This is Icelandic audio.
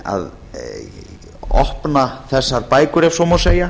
að opna þessar bækur ef svo má segja